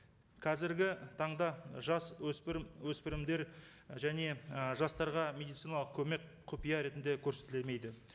қазіргі таңда жас өспірім өспірімдер және і жастарға медициналық көмек құпия ретінде көрсетілмейді